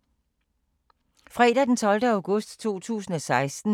Fredag d. 12. august 2016